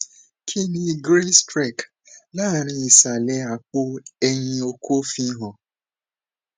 kini grey streak lanrin isale apo eyin oko fi han